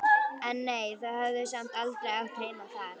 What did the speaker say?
En nei, þau höfðu samt aldrei átt heima þar.